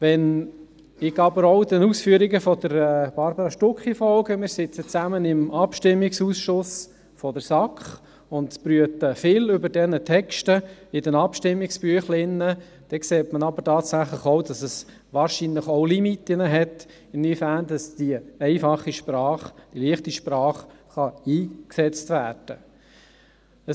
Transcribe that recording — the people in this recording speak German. Wenn ich auch den Ausführungen von Barbara Stucki folge – wir sitzen zusammen im Abstimmungsausschuss der SAK und brüten viel über die Texte der Abstimmungsbüchlein –, dann sieht man tatsächlich, dass es auch Limiten gibt, inwieweit die einfache, die «leichte Sprache» eingesetzt werden kann.